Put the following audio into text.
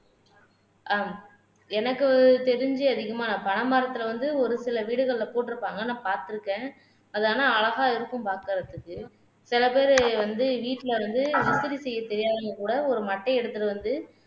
ஆஹ் எனக்கு தெரிஞ்சு அதிகமா பனை மரத்துல வந்து ஒரு சில வீடுகள்ல போட்டிருப்பாங்க நான் பார்த்திருக்கேன் அது ஆனா அழகா இருக்கும் பாக்குறதுக்கு சில பேரு வந்து வீட்டுல வந்து விசிறி செய்ய தெரியாதவங்க கூட ஒரு மட்டையை எடுத்திட்டு வந்து